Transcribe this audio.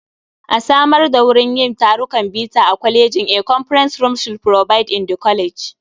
A samar da wurin yin tarukan bita a kwalejin. A conference room should provided in the college.